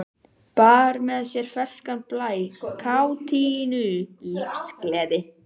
Bar með sér ferskan blæ, kátínu, lífsgleði.